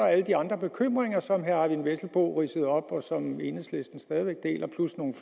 alle de andre bekymringer som herre eyvind vesselbo ridsede op og som enhedslisten stadig væk deler der